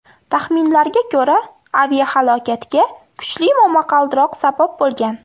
Taxminlarga ko‘ra, aviahalokatga kuchli momaqaldiroq sabab bo‘lgan.